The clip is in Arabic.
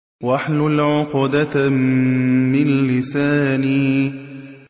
وَاحْلُلْ عُقْدَةً مِّن لِّسَانِي